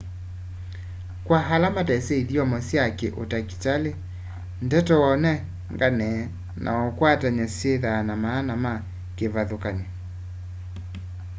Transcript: kwa ala matesĩ ithyomo sya kĩ ũtakĩtalĩ ndeto waũnengane na waũkwatany'a syĩthĩaa na maana me kĩvathũkany'o